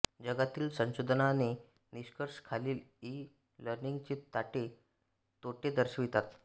जगातील संशोधनाचे निष्कर्ष खालील ई लर्निंगचे तोटे दर्शवितात